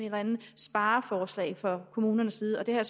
eller andet spareforslag fra kommunernes side det har